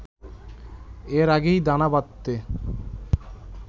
এর আগেই দানা বাঁধতে